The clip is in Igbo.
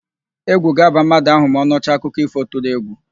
Égwù ga-aba mmadụ ahụ ma ọ nụcha akụkọ ífò tụrụ égwù.